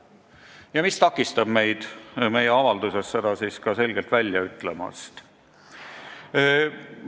Ja mis takistab meil seda siis meie avalduses ka selgelt välja ütlemast?